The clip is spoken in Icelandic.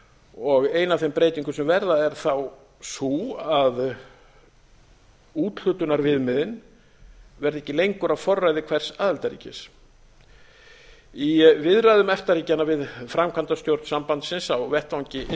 og ein af þeim breytingum sem verða er þá sú að úthlutunarviðmiðin verða ekki lengur á forræði hvers aðildarríkis í viðræðum efta ríkjanna við framkvæmdastjórn sambandsins á vettvangi e e s